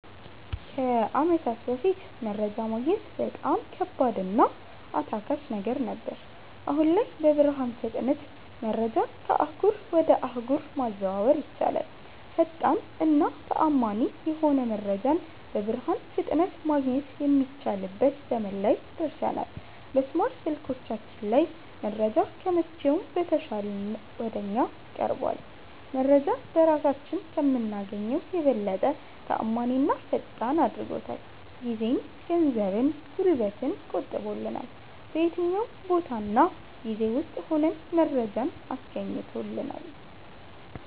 ከአመታት በፋት መረጃ ማግኘት በጣም ከባድ እና አታካች ነገር ነበር። አሁን ላይ በብርሃን ፍጥነት መረጃን ከአህጉር ወጀ አህጉር ማዘዋወር ይቻላል። ፈጣን እና ተአመኒ የሆነ መረጃን በብርሃን ፍጥነት ማገኘት የሚችልበት ዘመን ላይ ደርሠናል። በስማርት ስልኮቻችን ላይ መረጃ ከመቼውም በተሻለ ወደ እኛ ቀርቧል። መረጄን በራሳችን ከምናገኘው የበለጠ ተአማኒና ፈጣን አድርጎታል። ጊዜን፣ ገንዘብን፣ ጉልበትን ቆጥቦልናል። በየትኛውም ቦታ እና ጊዜ ውስጥ ሁነን መረጃን አስገኝቶልናል።